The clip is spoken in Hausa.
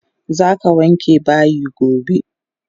Zaka wanke bayi gobe!